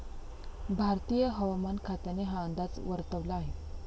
भारतीय हवामान खात्याने हा अंदाज वर्तवला आहे.